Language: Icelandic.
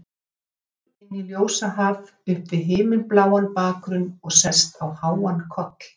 Gengur inn í ljósahaf upp við himinbláan bakgrunn og sest á háan koll.